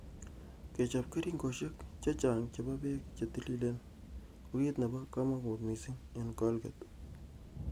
Kechop keringoshek chechang chepo pek che tililen ko ki nrpo kamangut mising ing Colgate.